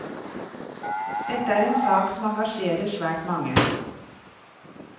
Dette er en sak som engasjerer svært mange.